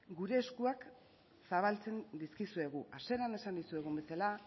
gure eskuak zabaltzen dizkizuegu hasieran esan dizuegun bezala